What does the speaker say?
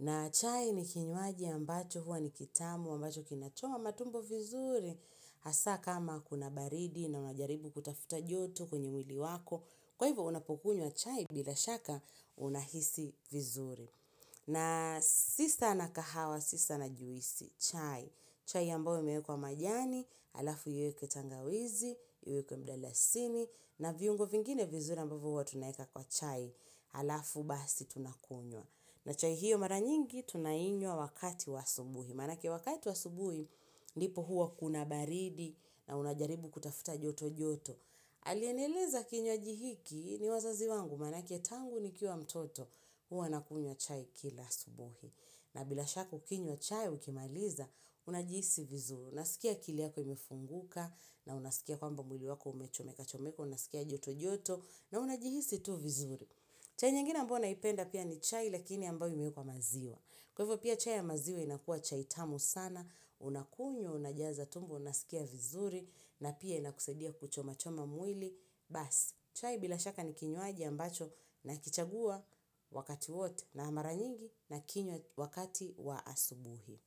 Na chai ni kinyuaji ambacho huwa ni kitamu ambacho kinatoma matumbo vizuri. Asa kama kuna baridi na unajaribu kutafuta joto kwenye mwili wako. Kwa hivyo unapukunywa chai bila shaka unahisi vizuri. Na si sana kahawa, si sana juisi, chai. Chai ambayo imewekwa majani, alafu iweke tangawizi, iweke mdalasini, na viungo vingine vizuri ambavyo watunaeka kwa chai, alafu basi tunakunwa. Na chai hiyo mara nyingi tunainwa wakati wa asubuhi. Maanake wakati wa asubuhi, ndipo huwa kuna baridi na unajaribu kutafuta joto joto. Alineleza kinywaji hiki ni wazazi wangu manake tangu ni kiwa mtoto huwa nakunywa chai kila asubuhi na bila shaka ukinywa chai ukimaliza unajihisi vizuri unasikia akili yako imefunguka na unasikia kwamba mwili wako umechomeka chomeko unasikia joto joto na unajihisi tu vizuri chai nyangina mbona ipenda pia ni chai lakini ambao imeuka maziwa. Kwa hivo pia chai ya maziwa inakua chai tamu sana unakunywa, unajaza tumbo, unasikia vizuri na pia ina kuzadia kuchoma choma mwili, basi, chai bila shaka ni kinywaji ambacho na kichagua wakati wote na mara nyingi nakinywa wakati wa asubuhi.